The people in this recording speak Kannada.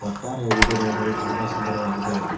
ಒಟ್ಟಾರೆಯಾಗಿ ಇದು ನೋಡಲು ತುಂಬ ಸುಂದರವಾಗಿದೆ.